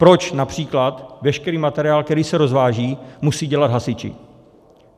Proč například veškerý materiál, který se rozváží, musí dělat hasiči?